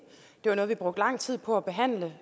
det var noget vi brugte lang tid på at behandle